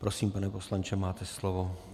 Prosím, pane poslanče, máte slovo.